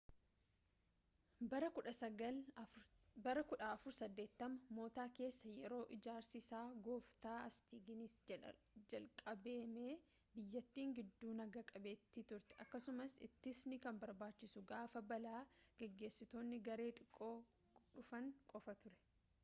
bara 1480moota keessa yeroo ijaarsi isaa goofta hastiingisiin jalqabame biyyattiin giddu naga-qabeettii turte akkasumas ittisni kan barbaachisu gaafa balaa geessistoonni garee xiqqoo dhufan qofa ture